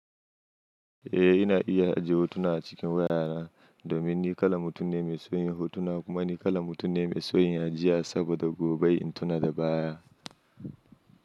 Eh, ina iya ajiye hotuna a cikin wayara domin ni kala mutum ne mai soyin hotuna kuma ni kala mutum ne mai soyin ajiya saboda gobe in tuna da baya.